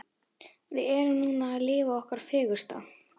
Við erum núna að lifa okkar fegursta.